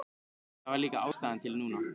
Það var líka ástæða til núna.